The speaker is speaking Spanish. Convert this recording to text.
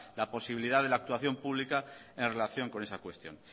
posibilidad de la actuación pública en relación con esa cuestión